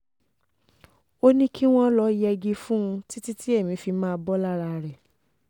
ó ní kí wọ́n lọ́ọ́ yẹgi fún un títí tí èmi fi máa bọ́ lára rẹ̀